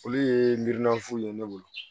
Olu ye miirinafuw ye ne bolo